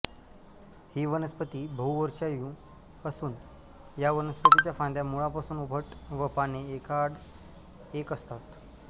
ही वनस्पती बहुवर्षायू असून या वनस्पतीच्या फांद्या मुळापासून उभट व पाने एकाआड एक असतात